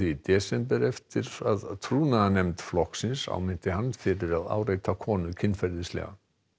í desember eftir að flokksins áminnti hann fyrir að áreita konu kynferðislega